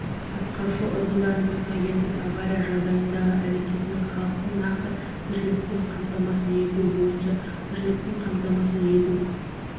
атқарушы органдардың техногендік авария жағдайындағы әрекетінің халықты нақты тіршілікпен қамтамасыз ету бойынша тіршілікпен қаматамасыз ету